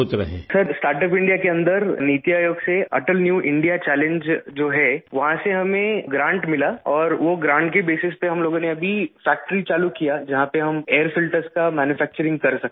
سر، startup India کے اندر نیتی آیوگ سے اٹل نیو انڈیا چیلنج جو ہے، وہاں سے ہمیں مدد ملی اور اس مدد کی بنیاد پر ہم لوگوں نے فیکٹری شروع کی جہاں پر ہم ایئر فلٹرس کی مینوفیکچرنگ کر سکتے ہیں